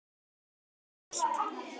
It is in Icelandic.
Er þér ekki kalt?